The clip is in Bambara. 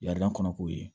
kɔnɔ k'o ye